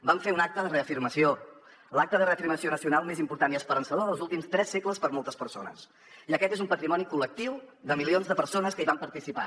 vam fer un acte de reafirmació l’acte de reafirmació nacional més important i esperançador dels últims tres segles per a moltes persones i aquest és un patrimoni col·lectiu de milions de persones que hi van participar